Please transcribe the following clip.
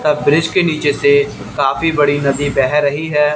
तब ब्रिज के नीचे से काफी बड़ी नदी बह रही है।